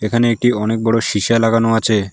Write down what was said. এখানে একটি অনেক বড়ো সীসা লাগানো আছে।